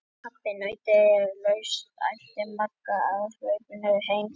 Pabbi, pabbi nautið er laust! æpti Magga á hlaupunum heim til sín.